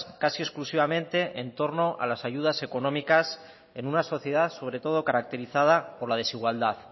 casi exclusivamente en torno a las ayudas económicas en una sociedad sobre todo caracterizada por la desigualdad